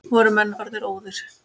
Voru menn orðnir óðir!